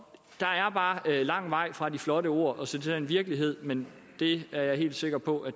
der er bare lang vej fra de flotte ord og til den virkelighed men det er jeg helt sikker på at